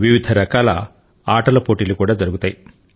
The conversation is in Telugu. వివిధ రకాల ఆటల పోటీలు కూడా జరుగుతాయి